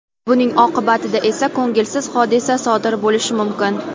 buning oqibatida esa ko‘ngilsiz hodisa sodir bo‘lishi mumkin.